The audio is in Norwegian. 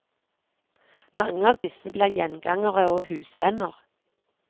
Mange av disse blir gjengangere og husvenner.